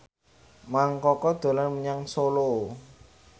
Mang Koko dolan menyang Solo